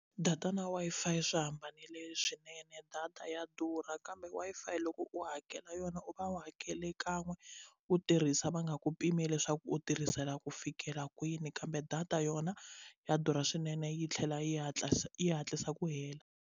Data na Wi-Fi swi hambanile swinene data ya durha kambe Wi-Fi loko u hakela yona u va u hakela kan'we u tirhisa va nga ku pimela leswaku u tirhisela ku fikela kwini kambe data yona ya durha swinene yi tlhela yi hatlisa yi hatlisa ku hela.